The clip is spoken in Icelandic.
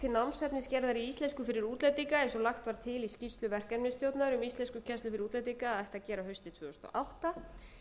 námsefnisgerðar í íslensku fyrir útlendinga eins og lagt var til í skýrslu verkefnisstjórnar um íslenskukennslu fyrir útlendinga að ætti að gera haustið tvö þúsund og átta